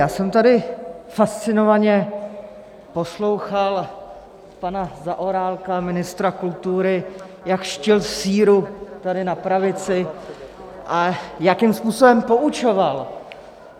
Já jsem tady fascinovaně poslouchal pana Zaorálka, ministra kultury, jak dštil síru tady na pravici a jakým způsobem poučoval.